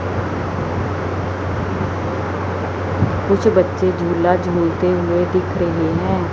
कुछ बच्चे झूला झूलते हुएं दिख रहें हैं।